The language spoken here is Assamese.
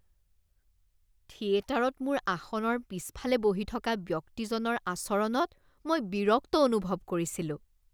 থিয়েটাৰত মোৰ আসনৰ পিছফালে বহি থকা ব্যক্তিজনৰ আচৰণত মই বিৰক্ত অনুভৱ কৰিছিলো।